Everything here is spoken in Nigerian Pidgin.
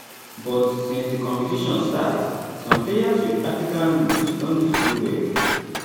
but since di competition start some players wit african roots don dey do well